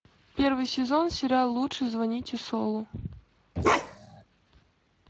первый сезон сериал лучше звоните солу